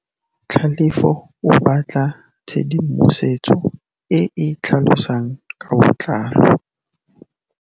Tlhalefô o batla tshedimosetsô e e tlhalosang ka botlalô.